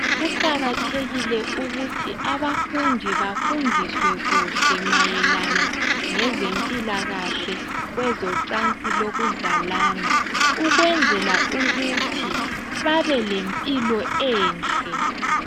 Kuqakathekile ukuthi abafundi bafundiswe kuhle mayelana ngezempilakahle kwezocansi lokuzalana ukwenzela ukuthi babe lempilo enhle.